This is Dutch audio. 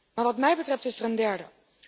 Maar wat mij betreft is er een derde.